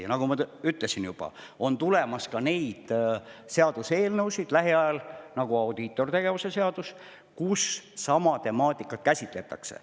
Ja nagu ma juba ütlesin, lähiajal on tulemas ka selliseid seaduseelnõusid, nagu audiitortegevuse seadus, kus sama temaatikat käsitletakse.